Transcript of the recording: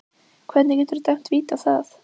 Hvernig geturðu dæmt víti á það?